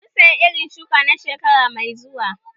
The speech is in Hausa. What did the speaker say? Mun saya irin shuki na shekara mai zuwa